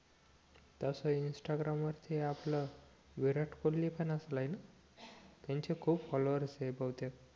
तसं इंस्टाग्राम वरती आपलं विराट कोहली पण असेल हे ना त्यांचे खूप फॉलोवर्स आहे बहुतेक